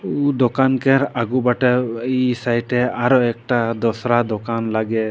उ दोकान केर आगु बाटे इ साइडे आरो एकटा दोसरा दोकान लागे।